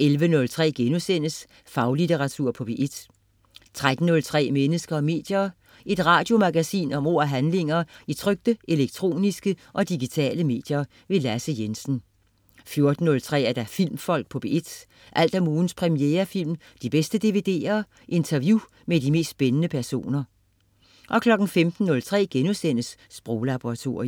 11.03 Faglitteratur på P1* 13.03 Mennesker og medier. Et radiomagasin om ord og handlinger i trykte, elektroniske og digitale medier. Lasse Jensen 14.03 Filmfolk på P1. Alt om ugens premierefilm, de bedste dvd'er, interview med de mest spændende personer 15.03 Sproglaboratoriet*